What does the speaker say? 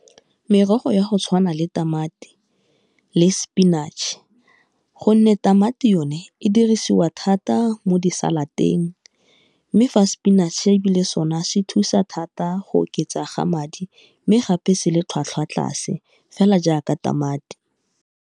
Merogo ya go tshwana le tamati le spinach, gonne tamati yone e dirisiwa thata mo disalad-eng, mme fa spinach ebile sone se thusa thata go oketsa ga madi mme gape se le tlhwatlhwa tlase fela jaaka tamati.